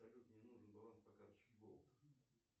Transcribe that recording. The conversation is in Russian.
салют мне нужен баланс по карточке голд